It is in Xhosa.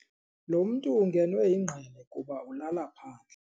Lo mntu ungenwe yingqele kuba ulala phandle.